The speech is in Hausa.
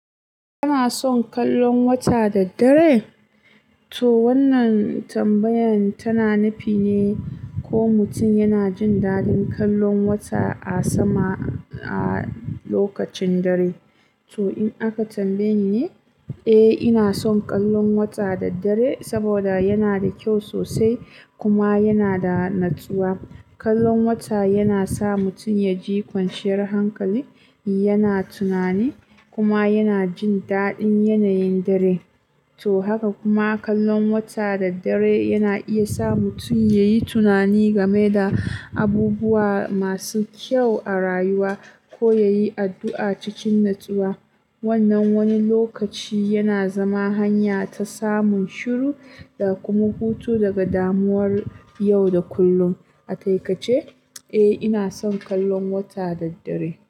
Kana son kallon wata da dare? To wannan tambayan tana nufi ne ko mutum yana jin daɗin kallon wata a sama a lokacin dare. To in aka tambaye ni ne, eh ina son kallon wata da dare saboda yana da kyau sosai kuma yana da natsuwa. Kallon wata yana sa mutum ya ji kwanciyar hankali, yana tunani kuma yana jin daɗin yanayin dare. To haka kuma kallon wata da dare yana iya sa mutum ya yi tunani game da abubuwa masu kyau a rayuwa ko ya yi addu'a cikin natsuwa. Wannan wani lokaci yana zama hanya ta samun shiru da kuma hutu daga damuwar yau da kullum. Atai ka ce, eh ina son kallon wata da dare.